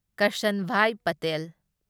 Karsanbhai Patel